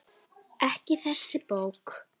Ekki þessi bók.